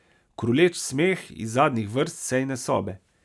Kruleč smeh iz zadnjih vrst sejne sobe.